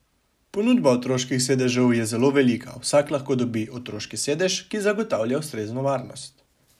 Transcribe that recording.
Ponudba otroških sedežev je zelo velika, vsak lahko dobi otroški sedež, ki zagotavlja ustrezno varnost.